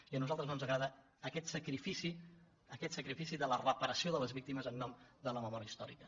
i a nosaltres no ens agrada aquest sacrifici de la reparació de les víctimes en nom de la memòria històrica